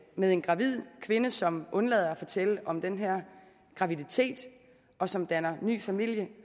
med en gravid kvinde som undlader at fortælle om den her graviditet og som danner ny familie